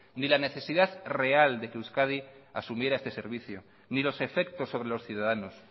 ni la necesidad real de que euskadi asumiera este servicio ni los efectos sobre los ciudadanos